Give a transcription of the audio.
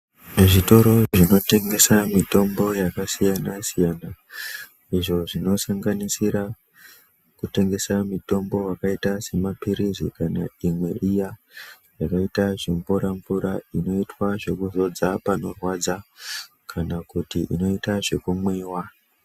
Zvitoro zvinotengesa mitombo yakasiyana-siyana, izvo zvinosanganisira kutengesa mitombo wakayita semapirizi kana imwe iya, yakayita zvimvura-mvura, inoitwa zvekuzodza panorwadza kana kuti inoyita zvekumwiwa.